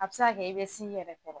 A bɛ se ka kɛ i bɛ s'i yɛrɛ kɔrɔ.